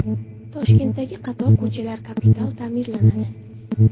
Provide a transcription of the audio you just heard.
Toshkentdagi qator ko‘chalar kapital ta’mirlanadi .